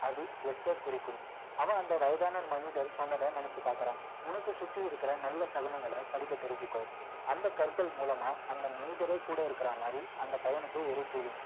அது yes ச குறிக்கும் வன் அந்த வயதான மனிதர் சொன்னத நினைச்சி பார்க்கிறான் உனக்கு சுற்றி இருக்கிற நல்ல சகுனங்கள படிக்க தெரிஞ்சிக்கோ அந்த கற்கள் மூலமா அந்த மனிதரே கூட இருக்கிற மாதிரி அந்த பையனுக்கு ஒரு feeling